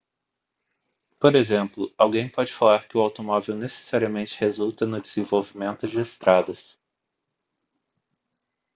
por exemplo alguém pode falar que o automóvel necessariamente resulta no desenvolvimento de estradas